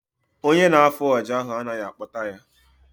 Ọnye na-afụ ọjà ahụ anaghị akpota ya